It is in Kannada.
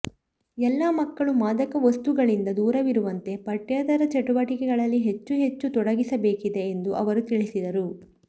ಎಲ್ಲಾ ಮಕ್ಕಳು ಮಾದಕ ವಸ್ತುಗಳಿಂದ ದೂರವಿರುವಂತೆ ಪಠ್ಯೇತರ ಚಟುವಟಿಕೆಗಳಲ್ಲಿ ಹೆಚ್ಚು ಹೆಚ್ಚು ತೊಡಗಿಸಬೇಕಿದೆ ಎಂದು ಅವರು ತಿಳಿಸಿದರು